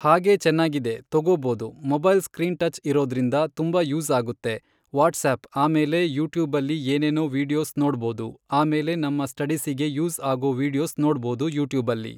ಹಾಗೆ ಚೆನ್ನಾಗಿದೆ ತೊಗೋಬೋದು ಮೊಬೈಲ್ ಸ್ಕ್ರೀನ್ ಟಚ್ ಇರೋದ್ರಿಂದ ತುಂಬ ಯೂಸ್ ಆಗುತ್ತೆ ವಾಟ್ಸಪ್ ಆಮೇಲೆ ಯೂಟ್ಯೂಬಲ್ಲಿ ಏನೇನೋ ವೀಡಿಯೋಸ್ ನೋಡ್ಬೋದು ಆಮೇಲೆ ನಮ್ಮ ಸ್ಟಡಿಸ್ಸಿಗೆ ಯೂಸ್ ಆಗೋ ವೀಡಿಯೋಸ್ ನೋಡ್ಬೋದು ಯೂಟ್ಯೂಬಲ್ಲಿ